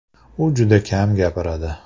U juda kam gapiradi.